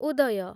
ଉଦୟ